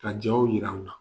Ka jɔnw jir'aw la